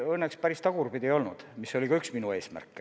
Ei, õnneks päris tagurpidi ei olnud, mis oli ka üks minu eesmärke.